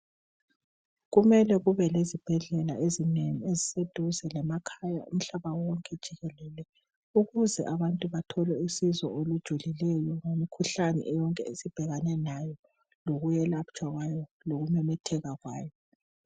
Kumele kube lezibhedlela ezinengi eziseduze lemakhaya umhlaba wonke jikelele ukuze abantu bathole usizo olujulileyo ngemikhuhlane yonke esibhekane layo lokuyelatshwa kwayo lokumemetheka kwayo.